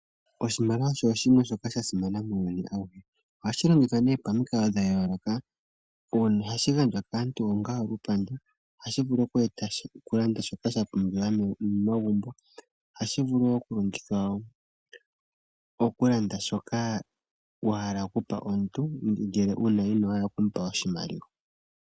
Oshimaliwa osho oshinima shoka sha simana muuyuni awuhe. Ohashi longithwa pamikalo dha yooloka. Ohashi gandjwa kaantu onga olupandu. Ohashi vulu okulanda shoka sha pumbiwa momagumbo. Ohashi vulu wo okulongithwa okulanda shoka wa hala okupa omuntu ngele ino hala oku mupa oshimaliwa.